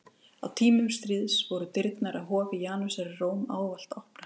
Á tímum stríðs voru dyrnar að hofi Janusar í Róm ávallt opnar.